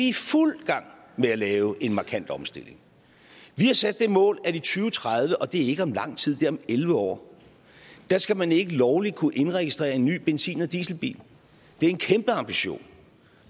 i fuld gang med at lave en markant omstilling vi har sat det mål at i og tredive og det er ikke om lang tid det er om elleve år skal man ikke lovligt kunne indregistrere en ny benzin eller dieselbil det er en kæmpe ambition